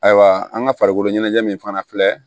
Ayiwa an ka farikolo ɲɛnajɛ min fana filɛ